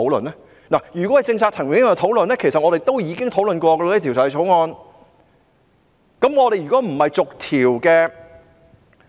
如果只是政策層面上的討論，其實我們已就《條例草案》作出這方面的討論。